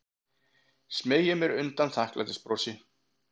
Smeygi mér undan þakklætisbrosi.